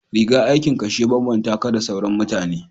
rigar aikin ka shi ya babbanta ka da sauran mutane